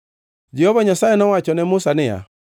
Jehova Nyasaye nowacho ne Musa niya,